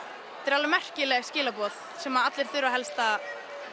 alveg merkileg skilaboð sem allir þurfa helst að